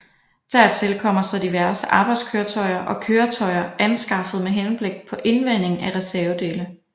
Dertil kommer så diverse arbejdskøretøjer og køretøjer anskaffet med henblik på indvending af reservedele